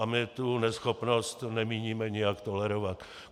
A my tu neschopnost nemíníme nijak tolerovat.